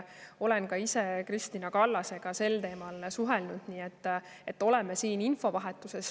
Olen ka ise Kristina Kallasega sel teemal suhelnud, nii et oleme infovahetuses.